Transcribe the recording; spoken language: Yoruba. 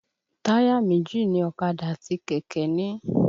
Táyà méjì ni ọ̀kadà àti kẹ̀kẹ́ ń ní.